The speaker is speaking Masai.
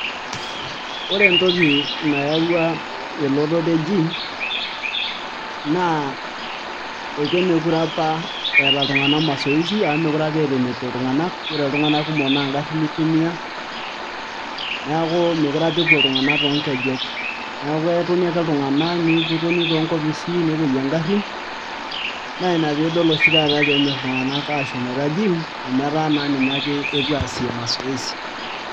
Ore entoki nayaua elototo e GYM ekemeekure apa eetaa iltung'anak masoesi amu meekure apa eeta enepuo iltung'anak, ore iltung'anak kumok naa ngarrin itumia, neeku meekure apa epuo iltung'anak toonkejek. Neeku ketoni ake iltung'anak netoni toonkopisi nepuoyie ingarrin, naa ina piidol oshi taata peenyorr iltung'anak aashomoita gym amu etaa naa ninye ake epuo aasie masoesi.